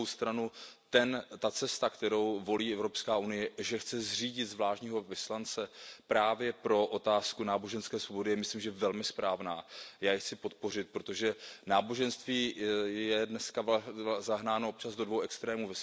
Na druhou stranu ta cesta, kterou volí Evropská unie, že chce zřídit zvláštního vyslance právě pro otázku náboženské svobody, je myslím, že velmi správná a já ji chci podpořit, protože náboženství je dneska zahnáno občas do dvou extrémů.